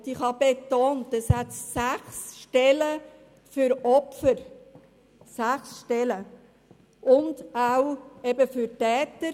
Ich habe betont, dass es sechs Stellen für Opfer gibt und eben auch für Täter.